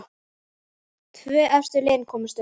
Tvö efstu liðin komast upp.